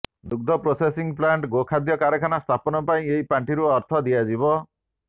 ଦୁଗ୍ଧ processing plant ଗୋଖାଦ୍ୟ କାରଖାନା ସ୍ଥାପନ ପାଇଁ ଏହି ପାଣ୍ଠିରୁ ଅର୍ଥ ଦିଆଯିବ